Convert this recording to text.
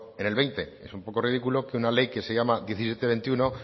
en el veinte es un poco ridículo que una ley que se llama diecisiete veintiuno